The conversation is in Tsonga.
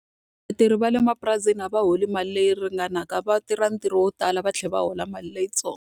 Vatirhi va le mapurasini a va holi mali leyi ringanaka. Va tirha ntirho wo tala va tlhela va hola mali leyitsongo.